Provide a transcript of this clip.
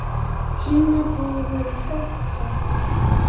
Hinna bróður verður sárt saknað.